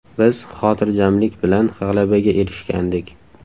Biz xotirjamlik bilan g‘alabaga erishgandik.